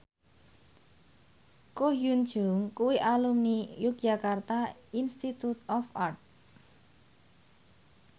Ko Hyun Jung kuwi alumni Yogyakarta Institute of Art